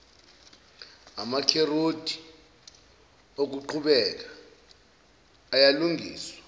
amarekhodi okuqhubeka ayalungiswa